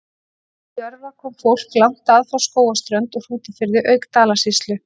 Til Jörfa kom fólk langt að, frá Skógarströnd og Hrútafirði auk Dalasýslu.